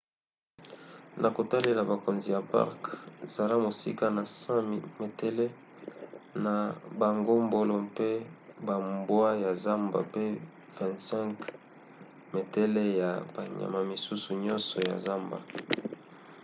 na kotalela bakonzi ya parke zala mosika na 100 metele na bangombolo mpe bambwa ya zamba mpe 25 metele ya banyama misusu nyonso ya zamba!